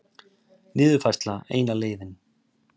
Niðurfærsla eina leiðin